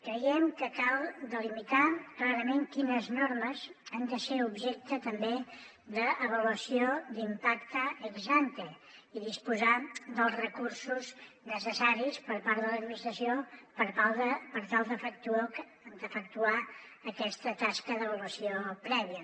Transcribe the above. creiem que cal delimitar clarament quines normes han de ser objecte també d’avaluació d’impacte ex ante i disposar dels recursos necessaris per part de l’administració per tal d’efectuar aquesta tasca d’avaluació prèvia